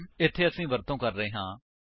ਇੱਥੇ ਅਸੀ ਵਰਤੋ ਕਰ ਰਹੇ ਹਾਂ